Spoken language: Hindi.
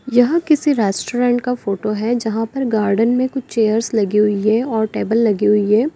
यह किसी रेस्टोरेंट का फोटो है जहां पर गार्डन में कुछ चेयर्स लगी हुई है और टेबल लगी हुई है।